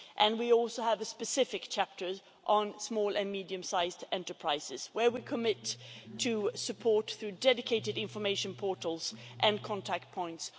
We also have a specific chapter on small and medium sized enterprises, in which we commit to supporting our SMEs through dedicated information portals and contact points.